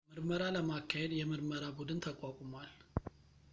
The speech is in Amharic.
ምርመራ ለማካሄድ የምርመራ ቡድን ተቋቁሟል